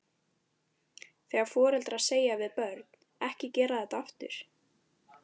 Þegar foreldrar segja við börn, ekki gera þetta aftur?